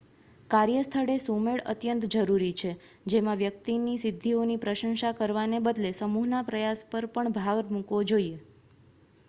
કાર્યસ્થળે સુમેળ અત્યંત જરૂરી છે જેમાં વ્યક્તિની સિદ્ધિઓની પ્રશંસા કરવાને બદલે સમૂહના પ્રયાસ પર ભાર મૂકાવો જોઈએ